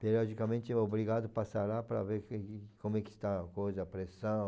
Periodicamente é obrigado passar lá para ver que que como é que está o coisa, a pressão.